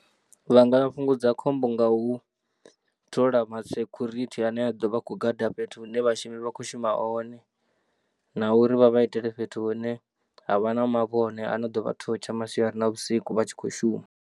Vha nga fhungudza khombo nga u thola masecurity ane a ḓo vha a khou gada fhethu hune vhashumi vha khou shuma hone. Na uri vha vha itele fhethu hune ha vha na mavhone ano ḓo vha thotsha masiari na vhusiku vha tshi khou shuma.